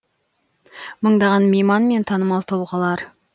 мыңдаған мейман мен танымал тұлғалар